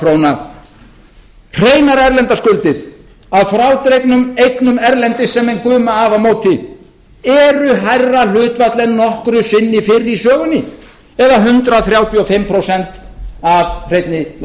hreinar erlendar skuldir að frádregnum eignum erlendis sem menn guma af á móti eru hærra hlutfall en nokkru sinni fyrr í sögunni eða hundrað þrjátíu og fimm prósent af hreinni